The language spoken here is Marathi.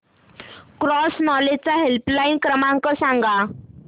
क्रॉस नॉलेज चा हेल्पलाइन क्रमांक सांगा